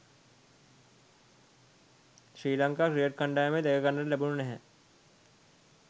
ශ්‍රී Lanka cricket කණ්ඩායමේ දැකගන්න ලැබුණේ නැහැ.